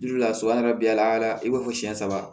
so an yɛrɛ bi layɛ i b'a fɔ siyɛn saba